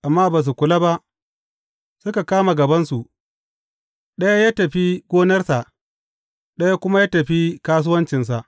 Amma ba su kula ba, suka kama gabansu, ɗaya ya tafi gonarsa, ɗaya kuma ya tafi kasuwancinsa.